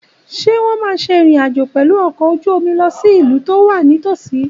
Ṣé wọ́n máa ṣe ìrìn àjò pẹ̀lú ọkọ̀ ojú omi lọ sí ìlú tó wà nítòsí?